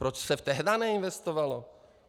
Proč se tehdá neinvestovalo?